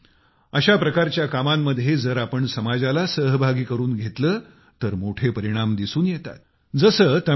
मित्रानो अशा प्रकारच्या कामांमध्ये जर आपण समाजाला सहभागी करून घेतलं तर मोठे परिणाम दिसून येतात